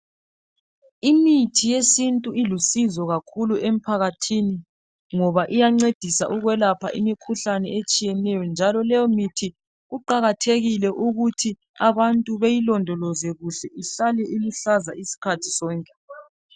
Imithi yesintu ilusizo kakhulu emphakathini ngoba iyancedisa ukwelapha imikhuhlane etshiyeneyo njalo leyo mithi kuqakathekile ukuthi abantu beyilondoloze kuhle ihlale iluhlaza isikhathi sonke.